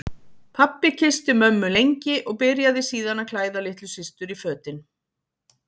Pabbi kyssti mömmu lengi og byrjaði síðan að klæða litlu systur í fötin.